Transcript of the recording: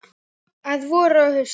Að vori og hausti.